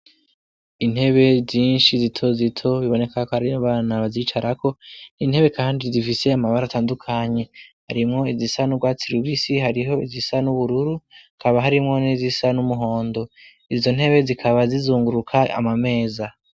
Intebe zinshi zitozito biboneka akarine bana bazicarako intebe, kandi zifisey amabara atandukanye harimwo izisa n'ubwatsi lubisi hariho izisa n'ubururu kaba harimwo n'izisa n'umuhondo izo ntebe zikaba zizunguruka amameza.